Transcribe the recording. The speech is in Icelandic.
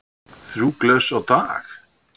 Þrjú glös á dag?